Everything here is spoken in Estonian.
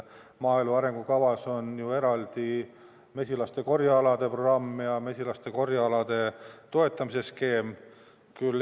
Maaelu arengukavas on ju eraldi mesilaste korjealade programm ja mesilaste korjealade toetamise skeem.